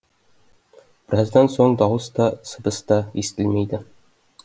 біраздан соң дауыс та сыбыс та естілмейді